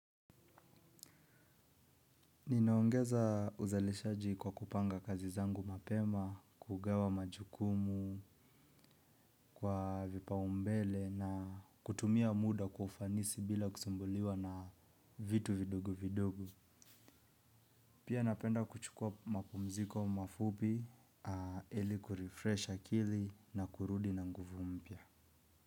Ninaongeza uzalishaji kwa kupanga kazi zangu mapema, kugawa majukumu, kwa vipaumbele na kutumia muda kwa ufanisi bila kusumbuliwa na vitu vidogo vidogo. Pia napenda kuchukua mapumziko mafupi, ili kurefresh akili na kurudi na nguvu mpya.